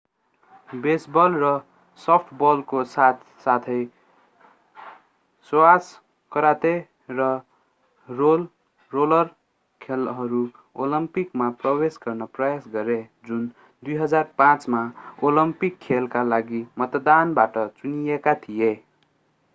baseball र सफ्टबलको साथ साथै स्क्वाश कराते र रोलर खेलहरू ओलम्पिकमा प्रवेश गर्ने प्रयास गरे जुन 2005 मा ओलम्पिक खेलका लागि मतदानबाट चुनिएका थिए